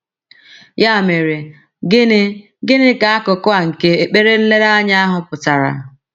Ya mere, gịnị gịnị ka akụkụ a nke ekpere nlereanya ahụ pụtara?